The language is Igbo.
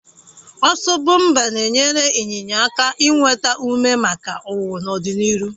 Ọsọ bọmpa na-enyere ịnyịnya aka inweta ume maka ọwụwụ n'ọdịnihu,